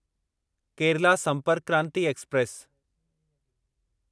Kerala Sampark Kranti express